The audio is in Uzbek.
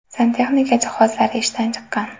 Santexnika jihozlari ishdan chiqqan.